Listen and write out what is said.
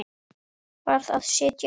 Varð að sitja á mér.